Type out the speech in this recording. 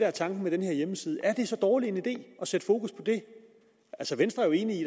er tanken med den her hjemmeside er det så dårlig en idé at sætte fokus på det altså venstre er jo enig i